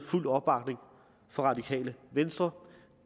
fuld opbakning fra radikale venstre